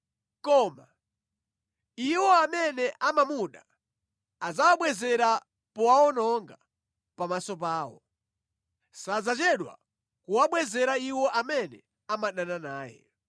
Koma iwo amene amamuda adzawabwezera powawononga pamaso pawo; sadzachedwa kuwabwezera iwo amene amadana naye.